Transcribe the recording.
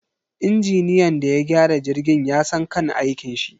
Injiniyan da ya gyara jirgin yasan kan aikinshi